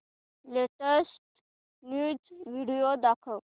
latest news video दाखव